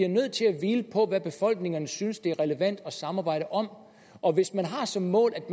nødt til at hvile på hvad befolkningerne synes det er relevant at samarbejde om og hvis man har som mål at